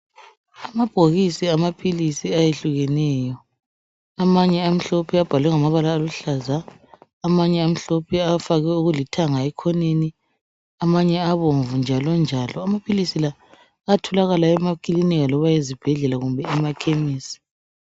Amabhokisi amaphilisi ayehlukeneyo amanye amhlophe abhalwe ngamabala aluhlaza, amanye amhlophe afakwe okulithanga ekhoneni, amanye abomvu njalo njalo. Amaphilisi la ayatholakala emakilinika loba ezibhedlela kumbe emakhemisi.